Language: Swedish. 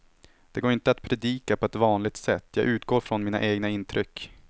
Det går inte att predika på vanligt sätt, jag utgår från mina egna intryck.